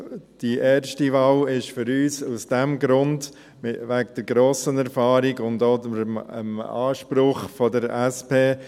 Der Grund für die erste Wahl ist die grosse Erfahrung, und auch der Anspruch der SP.